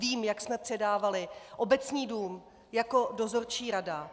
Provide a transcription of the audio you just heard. Vím, jak jsme předávali Obecní dům jako dozorčí rada.